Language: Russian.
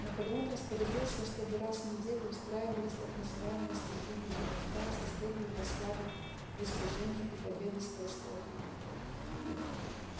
наполеон распорядился чтобы раз в неделю устраивались так называемые стихийные демонстрации с целью восславить достижения и победы скотского хутора